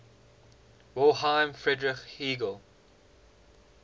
wilhelm friedrich hegel